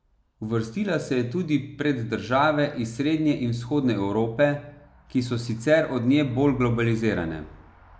Uvrstila se je tudi pred države iz srednje in vzhodne Evrope, ki so sicer od nje bolj globalizirane.